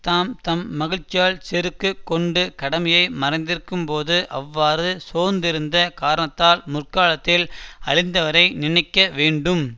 தாம் தம் மகிழ்ச்சியால் செருக்கு கொண்டு கடமையை மறந்திருக்கும் போது அவ்வாறு சோர்ந்திருந்த காரணத்தால் முற்காலத்தில் அழிந்தவரை நினைக்க வேண்டும்